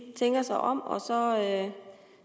tænker sig om og så